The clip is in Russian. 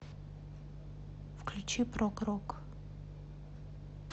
включи прог рок